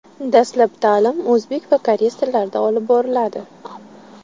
Dastlab ta’lim o‘zbek va koreys tillarida olib boriladi.